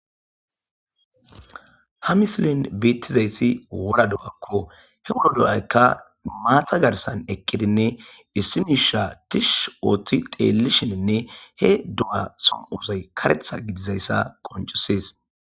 Ha mislin beettizayssi wura do'akko he wuro do'aykka maatha garsan eqqidinne issimisha tish ooththi teelisheninne he do7a som7osay karetha gidizayssa qoncusees.